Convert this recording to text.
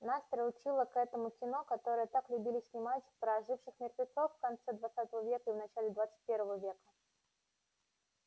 нас приучило к этому кино которое так любили снимать про оживших мертвецов в конце двадцатого века и в начале двадцать первого века